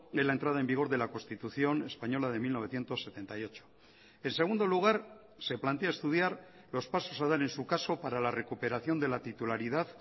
en la entrada en vigor de la constitución española de mil novecientos setenta y ocho en segundo lugar se plantea estudiar los pasos a dar en su caso para la recuperación de la titularidad